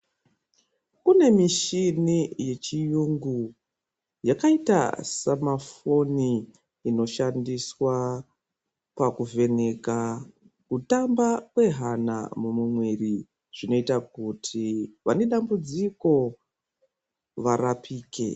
Kunemichini yechiyungu ,yakaita sama foni inoshandiswa pakuvheneka kutamba kwehana mumuiri ,zvinoita kuti vanedambudziko varapike.